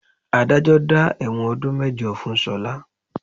Adájọ́ dá ẹ̀wọ̀n ọdún mẹ́jọ fún Ṣọlá